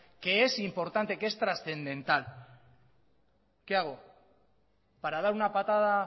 que es importante que es trascendental qué hago para dar una patada